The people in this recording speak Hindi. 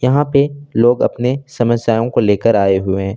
यहां पे लोग अपने समस्याओं को लेकर आए हुए--